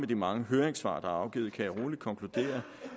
de mange høringssvar der er afgivet kan jeg roligt konkludere